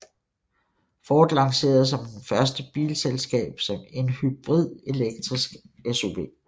Ford lancerede som det første bilselskab en hybrid elektrisk SUV